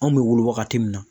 Anw bɛ wolo wagati mun na.